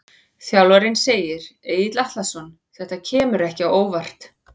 Þjálfarinn segir- Egill Atlason Þetta kemur ekki á óvart.